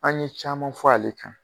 An ɲe caman fɔ a le kan.